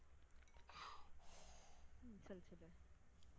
ஹம் சொல்லு சொல்லு